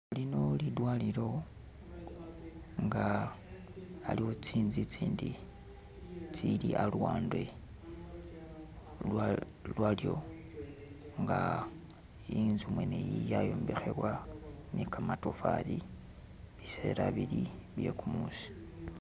Lino lidwalilo nga aliwo tsinzu itsindi aluwande lwalyo nga inzu mwene iyi yayombekhebwa ne kamatofali biseela bili bye kumuusi